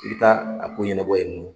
I bi taa a ko ɲɛnabɔ yen nɔ.